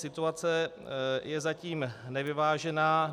Situace je zatím nevyvážená.